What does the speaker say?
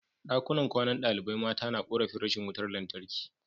Dakunan kwanan dalibai mata na korafin rashin wutar lantarki